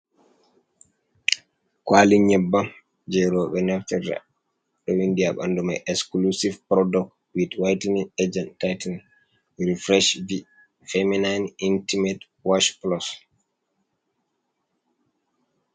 ƙwali nyeɓɓam je rewɓe naftirta, ɗo vinɗi ha ɓanɗu mai esclusive product wit whitening agent tightining refresh v feminine intimate wash plus.